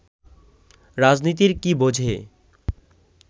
রাজনীতির কি বোঝে